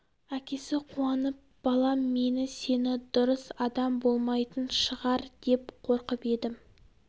әкесі қуанып балам мені сені дұрыс адам болмайтын шығар деп қорқып едім